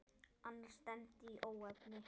Annars stefndi í óefni.